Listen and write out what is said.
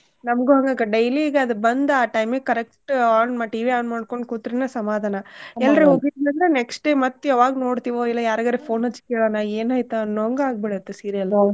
ನಮ್ಗು ಹಂಗಕ್ಕ daily ಈಗ ಅದ್ ಬಂದ ಆ time ಗ್ correct on ಮಾಡಿ TV on ಮಾಡ್ಕೊಂಡ್ ಕೂತ್ರುನ ಸಮಾದಾನ ಹೋಗಿದ್ನಿ ಅಂದ್ರೆ next day ಮತ್ತ್ ಯಾವಾಗ್ ನೋಡ್ತಿವೋ ಇಲ್ಲ ಯಾರ್ಗಾರ phone ಹಚ್ಚಿ ಕೇಳೋನಾ ಏನ್ ಆಯ್ತೋ ಅನ್ನೋವಂಗ ಆಗ್ಬಿಡು ತ್ತೆ serial .